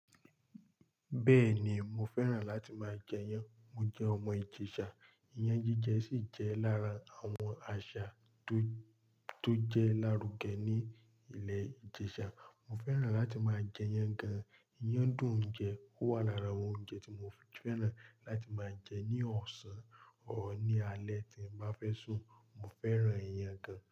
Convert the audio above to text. Bẹ́ẹ̀ ni, mo fẹ́ràn láti máa jẹ iyan. Mo jẹ́ ọmọ ìjẹ̀sà. Iyán jíjẹ sì jẹ́ lára àwọn àṣà tó, tó jẹ́ lárùgẹ ní ilẹ̀ ìjẹ̀sà. Mo fẹ́ràn láti máa jẹ iyan gan. Iyán dùn jẹ, ó wà lára àwọn oúnjẹ tí mo fẹ́ràn láti máa jẹ ní ọ̀sán or ní alẹ́ tí mo bá fẹ́ sùn. Mo fẹ́ràn iyán gan.